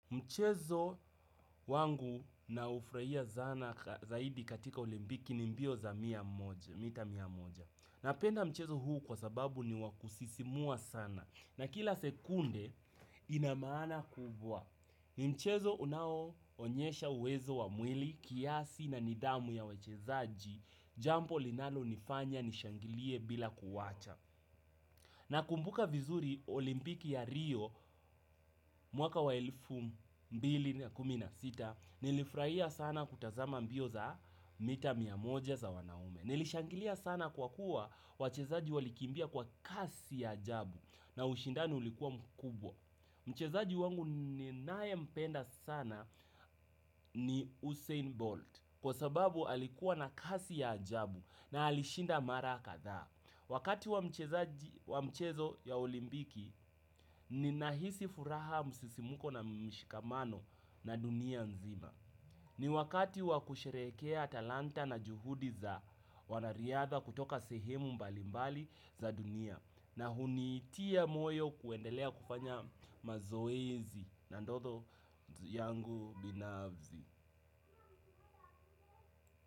Mchezo wangu naufurahia sana zaidi katika olimpiki ni mbio za mia moja, mita mia moja. Napenda mchezo huu kwa sababu ni wa kusisimua sana. Na kila sekunde ina maana kubwa. Mchezo unaoonyesha uwezo wa mwili, kiasi na nidhamu ya wachezaji, jambo linalonifanya nishangilie bila kuacha. Nakumbuka vizuri olimpiki ya Rio mwaka wa elfu mbili na kumi na sita nilifurahia sana kutazama mbio za mita mia moja za wanaume. Nilishangilia sana kwa kuwa wachezaji walikimbia kwa kasi ya ajabu na ushindani ulikuwa mkubwa. Mchezaji wangu ninayempenda sana ni Usain Bolt kwa sababu alikuwa na kasi ya ajabu na alishinda mara kadhaa. Wakati wa mchezo ya olimpiki, ninahisi furaha msisimko na mshikamano na dunia nzima. Ni wakati wa kusherehekea talanta na juhudi za wanariadha kutoka sehemu mbalimbali za dunia. Na hunitia moyo kuendelea kufanya mazoezi na ndoto yangu binafsi.